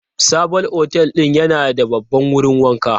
Sabon otel din yana da babban wurin wanka.